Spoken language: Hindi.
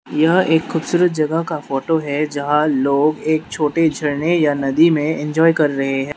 यह एक खूबसूरत जगह का फोटो है जहां लोग एक छोटे झरने या नदी में इंजॉय कर रहे हैं।